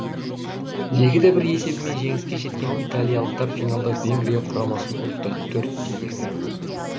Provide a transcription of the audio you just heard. екі де бір есебімен жеңіске жеткен италиялықтар финалда венгрия құрамасын ұтты төрт те екі